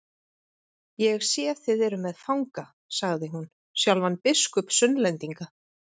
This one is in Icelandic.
Ég sé þið eruð með fanga, sagði hún, sjálfan biskup Sunnlendinga.